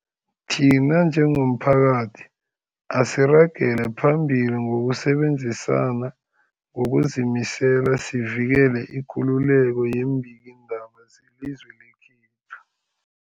Thina njengomphakathi, asiragele phambili ngokusebenzisana ngokuzimisela sivikele ikululeko yeembikiindaba zelizwe lekhethu.